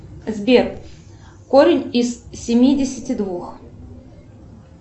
сбер корень из семидесяти двух